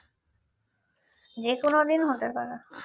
যেকোন দিন হতে পারে